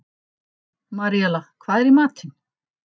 Maríella, hvað er í matinn?